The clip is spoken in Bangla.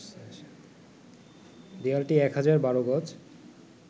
দেয়ালটি ১,০১২ গজ